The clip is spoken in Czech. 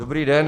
Dobrý den.